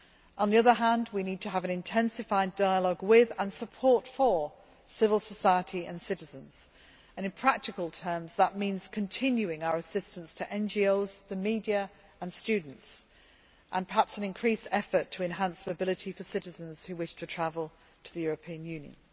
On the other hand, we need to have an intensified dialogue with, and to support, civil society and citizens and, in practical terms, that means continuing our assistance to NGOs, the media and students, and perhaps an increased effort to enhance mobility for citizens who wish to travel to the European Union.